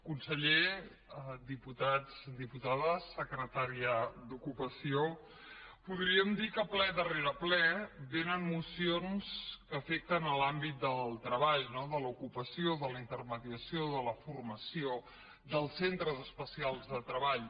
conseller diputats diputades secretària d’ocupació podríem dir que ple darrere ple vénen mocions que afecten l’àmbit del treball no de l’ocupació de la intermediació de la formació dels centres especials de treball